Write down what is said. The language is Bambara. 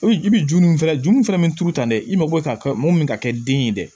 I bɛ juru min fana juru fana bɛ turu tan dɛ i ma bɔ e ka mɔgɔ min bɛ ka kɛ den ye dɛ